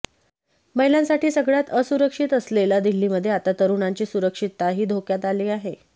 महिलांसाठी सगळ्यात असुरक्षित असलेल्या दिल्लीमध्ये आता तरुणांची सुरक्षितताही धोक्यात आली आहे